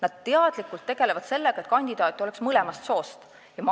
Nad teadlikult tegelevad sellega, et oleks mõlemast soost kandidaate.